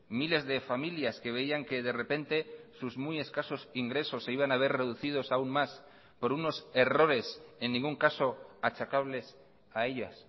miles de familias que veían que de repente sus muy escasos ingresos se iban a ver reducidos aún más por unos errores en ningún caso achacables a ellas